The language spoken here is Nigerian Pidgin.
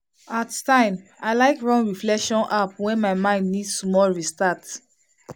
at time i like run reflection app when my mind need small restart.